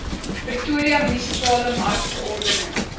pretoria munisipale markverordening